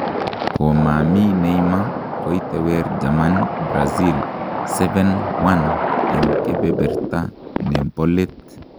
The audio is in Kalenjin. Komami Neymar, koitewer Germany Brazil 7-1 eng kebeberta ne bo let.